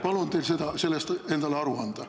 Palun teil sellest endale aru anda.